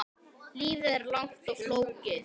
Lífið er langt og flókið.